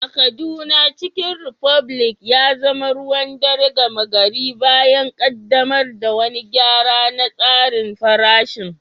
A Kaduna, Chicken republic ya zama ruwan dare gama gari bayan ƙaddamar da wani gyara na tsarin farashin.